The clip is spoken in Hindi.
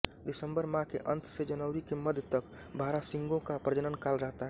दिसम्बर माह के अंत से जनवरी के मध्य तक बारहसिंगों का प्रजनन काल रहता है